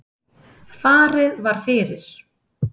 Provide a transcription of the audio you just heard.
Farið var fyrir